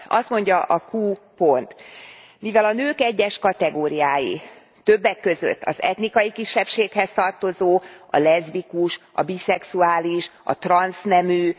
Azt mondja a q pont Mivel a nők egyes kategóriái, többek között az etnikai kisebbséghez tartozó, a leszbikus, a biszexuális, a transznemű